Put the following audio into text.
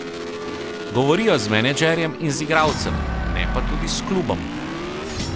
Govorijo z menedžerjem in z igralcem, ne pa tudi s klubom.